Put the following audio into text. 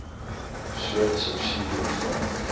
soort subsidie ontvang